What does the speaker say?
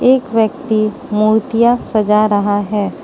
एक व्यक्ति मूर्तियां सजा रहा है।